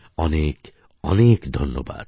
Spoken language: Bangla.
অনেক অনেক ধন্যবাদ